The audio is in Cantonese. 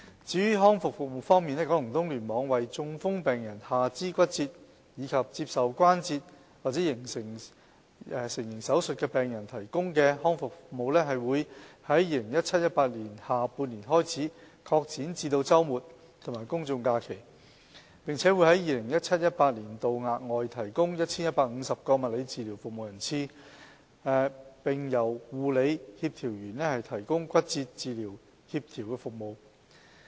至於康復服務方面，九龍東聯網為中風、下肢骨折及接受關節成形手術的病人提供的康復服務，會在 2017-2018 年下半年開始擴展至周末和公眾假期，並會在 2017-2018 年度額外提供 1,150 個物理治療服務人次，並由護理協調員提供骨折治療協調服務。